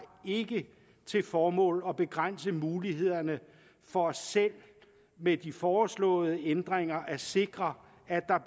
ikke til formål at begrænse mulighederne for selv med de foreslåede ændringer at sikre at